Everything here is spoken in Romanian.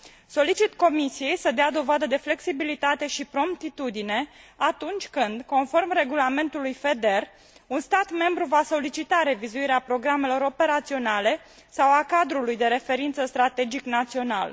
Solicit Comisiei să dea dovadă de flexibilitate și promptitudine atunci când, conform regulamentului FEDER, un stat membru va solicita revizuirea programelor operaționale sau a cadrului de referință strategic național.